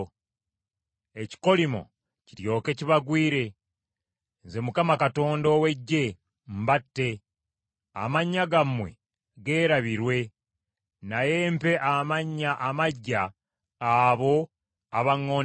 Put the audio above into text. Ekikolimo kiryoke kibagwire, Nze Mukama Katonda ow’Eggye mbatte amannya gammwe geerabirwe, naye mpe amannya amaggya abo abaŋŋondera.